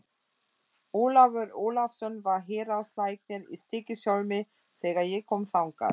Ólafur Ólafsson var héraðslæknir í Stykkishólmi þegar ég kom þangað.